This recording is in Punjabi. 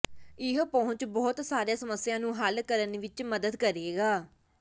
ਇਹ ਪਹੁੰਚ ਬਹੁਤ ਸਾਰੇ ਸਮੱਸਿਆ ਨੂੰ ਹੱਲ ਕਰਨ ਵਿੱਚ ਮਦਦ ਕਰੇਗਾ